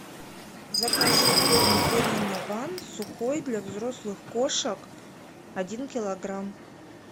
закажи корм пурина ван сухой для взрослых кошак один килограмм